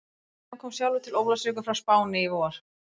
William kom sjálfur til Ólafsvíkur frá Spáni í vor.